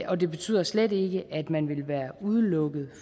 og det betyder slet ikke at man vil være udelukket